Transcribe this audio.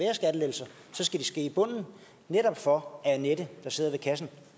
ske i bunden netop for at annette der sidder i kassen